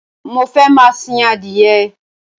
Mo fẹ́ máa sìn adìyẹ